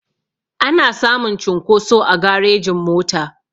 Ana samun cunkoso a garejin mota